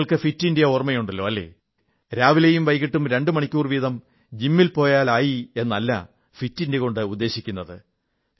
നിങ്ങൾക്ക് fit India ഓർമ്മയുണ്ടല്ലോ അല്ലേ രാവിലെയും വൈകിട്ടും രണ്ടു മണിക്കൂർ വീതം ജിമ്മിൽ പോയാൽ ആയി എന്നല്ല ഫിറ്റ് ഇന്ത്യ എന്നതുകൊണ്ട് ഉദ്ദേശിക്കുന്നത്